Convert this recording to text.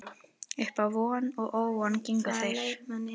Uppá von og óvon gengu þeir